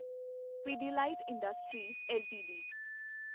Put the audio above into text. Pidilite industries LTD